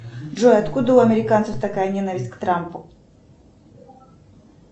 джой откуда у американцев такая ненависть к трампу